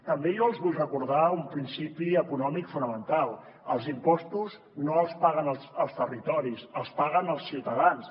també els vull recordar un principi econòmic fonamental els impostos no els paguen els territoris els paguen els ciutadans